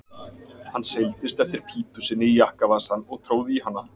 Hann seildist eftir pípu sinni í jakkavasann og tróð í hana.